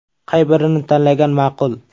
Qay birini tanlagan ma’qul?.